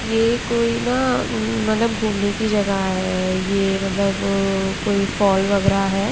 ये कोई ना अ मतलब घूमने की जगह है ये मतलब अ कोई फॉल वगैरा है।